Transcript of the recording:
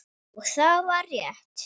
Og það var rétt.